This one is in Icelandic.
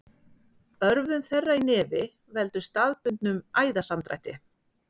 Örvun þeirra í nefi veldur staðbundnum æðasamdrætti.